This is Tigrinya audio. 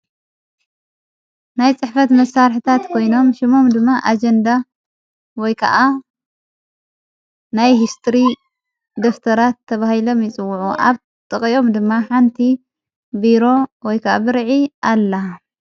ናይ ጽሕፈት መሣርሕታት ኮይኖም ሹሞም ድማ ኣጀንዳ ወይ ከዓ ናይ ሕስትሪ ደፍተራት ተብሂሎ ምይጽውዑ ኣብ ጠቐኦም ድማ ሓንቲ ብሮ ወይ ከዓ ብርዒ ኣላ።